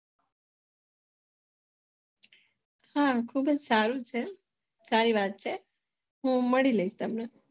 હમ ખુબજ સારું છે સારી વાત છે હું મળી લઈશ કાલે